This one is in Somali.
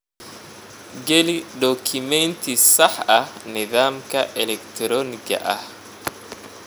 Geli dukumeenti sax ah nidaamka elektaroonigga ah.